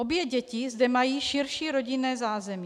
Obě děti zde mají širší rodinné zázemí.